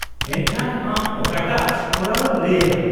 -ᱮᱱᱠᱷᱟᱱ ᱟᱢ ᱚᱠᱟᱴᱟᱜ ᱠᱚᱨᱟᱣᱮᱢ ᱞᱟᱹᱭ ᱮᱫᱟ ?